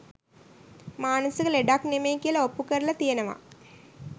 මානසික ලෙඩක් නෙමෙයි කියල ඔප්පු කරලා තියෙනවා